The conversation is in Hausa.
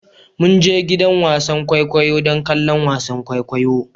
Mun je gidan wasan kwaikwayo don kallon wasan kwaikwayo